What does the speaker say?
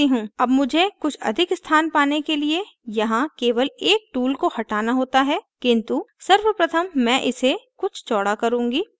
अब मुझे कुछ अधिक स्थान पाने के लिए यहाँ केवल एक tool को हटाना होता है किन्तु सर्वप्रथम मै इसे कुछ चौड़ा करुँगी